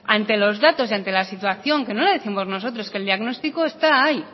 ante los datos y ante la situación que no la décimos nosotros que el diagnostico está ahí